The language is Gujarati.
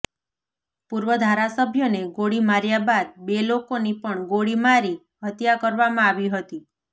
પૂર્વ ધારાસભ્યને ગોળી માર્યા બાદ બે લોકોની પણ ગોળીમારી હત્યા કરવામાં આવી હતી